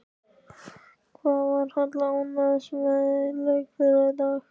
Hvað var Halla ánægðust með í leik þeirra í dag?